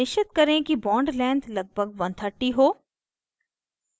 निश्चित करें कि bond length लगभग 130 हो